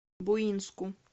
буинску